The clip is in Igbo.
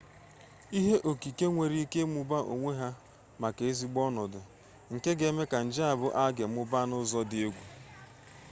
ihe okike nwere ike ịgbagha onwe ha iweta maka ezigbo ọnọdụ nke ga eme ka nje a bụ alge mụbaa n'ụzọ dị egwu